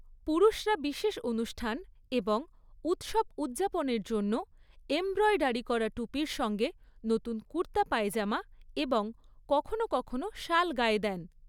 পুরুষরা বিশেষ অনুষ্ঠান এবং উৎসব উদযাপনের জন্য এমব্রয়ডারি করা টুপির সঙ্গে নতুন কুর্তা পায়জামা এবং কখনও কখনও শাল গায়ে দেন।